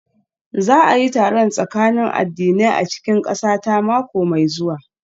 Za a yi taron tsakanin addinai a cikin ƙasata mako mai zuwa